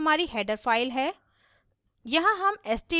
यह iostream हमारी header file है